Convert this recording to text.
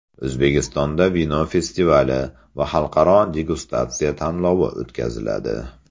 O‘zbekistonda vino festivali va xalqaro degustatsiya tanlovi o‘tkaziladi.